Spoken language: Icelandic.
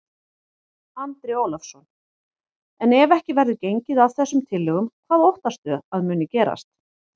Andri Ólafsson: En ef ekki verður gengið að þessum tillögum, hvað óttastu að muni gerast?